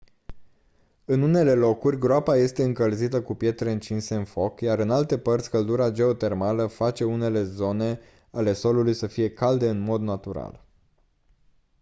în unele locuri groapa este încălzită cu pietre încinse în foc iar în alte părți căldura geotermală face unele zone ale solului să fie calde în mod natural